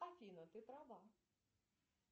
афина ты права